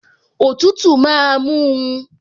Òtútù máa mú un